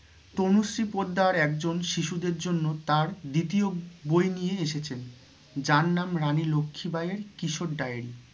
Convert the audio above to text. তনুশ্রী পোদ্দার একজন শিশুদের জন্য তাঁর দ্বিতীয় বই নিয়ে এসেছেন যার নাম রানী লক্ষি বাইয়ের কিশোর diary